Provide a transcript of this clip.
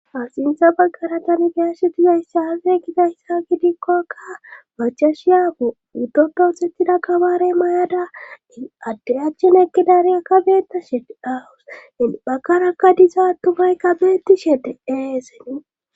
Axintha baggaratani biyashetizaysse hafe giza hyssa gidikkokka bachashiyaapu utoppoothettida kabaarey mayada i adde achchen ekkidariya ka beetta shete awus en bakarakka disa attumaykka beeti shede eeseni.